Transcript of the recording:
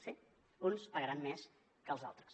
sí uns pagaran més que els altres